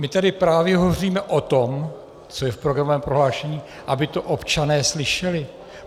My tady právě hovoříme o tom, co je v programovém prohlášení, aby to občané slyšeli.